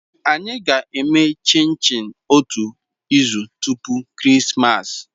Anyị ga-eme chinchi otu izu tupu Christmas.